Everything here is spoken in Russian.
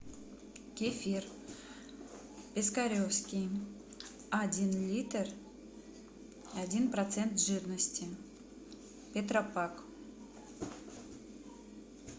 кефир пискаревский один литр один процент жирности тетрапак